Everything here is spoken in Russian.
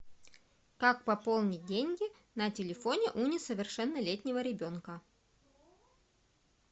как пополнить деньги на телефоне у несовершеннолетнего ребенка